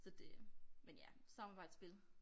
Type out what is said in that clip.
Så det men ja samarbejdsspil